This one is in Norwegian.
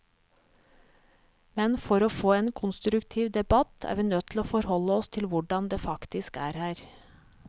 Men for å få en konstruktiv debatt, er vi nødt til å forholde oss til hvordan det faktisk er her.